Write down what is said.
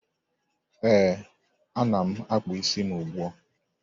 Ee, ana m akpụ isi m ugbua.